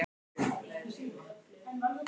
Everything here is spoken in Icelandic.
Var nokkur annar möguleiki í stöðunni?